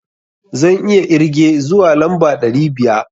Zan iya irge zuwa lamba ɗari biya.